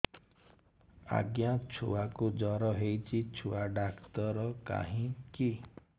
ଆଜ୍ଞା ଛୁଆକୁ ଜର ହେଇଚି ଛୁଆ ଡାକ୍ତର କାହିଁ କି